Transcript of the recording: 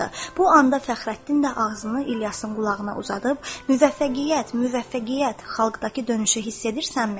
Bu anda Fəxrəddin də ağzını İlyasın qulağına uzadıb: Müvəffəqiyyət, müvəffəqiyyət, xalqdakı dönüşü hiss edirsənmi?